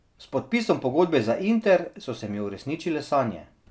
S podpisom pogodbe za Inter so se mi uresničile sanje.